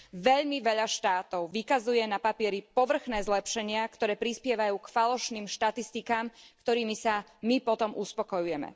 Veľmi veľa štátov vykazuje na papieri povrchné zlepšenia, ktoré prispievajú k falošným štatistikám, ktorými sa my potom uspokojujeme.